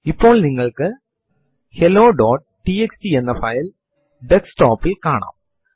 ചിലപ്പോൾ നിങ്ങളുടെ ലോഗിൻ പാസ്വേർഡിൽ കംപ്രമൈസ് ചെയ്യുകയോ ചിലപ്പോൾ മാറ്റം വരുത്തുകയോ ചെയ്യേണ്ടതായി വരും